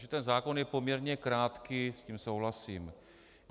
Že ten zákon je poměrně krátký, s tím souhlasím.